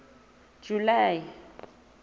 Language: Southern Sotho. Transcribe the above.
july